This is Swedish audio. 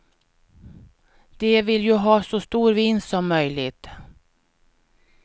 De vill ju ha så stor vinst som möjligt.